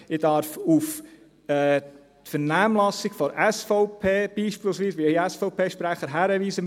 Ich darf auf die Vernehmlassung der SVP beispielsweise – auf den SVP-Sprecher – hinweisen;